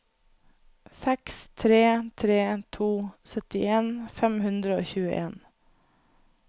seks tre tre to syttien fem hundre og tjueen